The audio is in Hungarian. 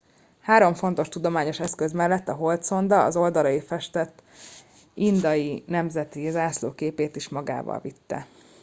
három fontos tudományos eszköz mellett a holdszonda az oldalaira festett indiai nemzeti zászló képét is magával vitte